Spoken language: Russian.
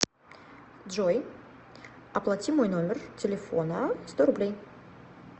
джой оплати мой номер телефона сто рублей